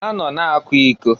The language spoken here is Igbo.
Ha nọ na-akwa iko.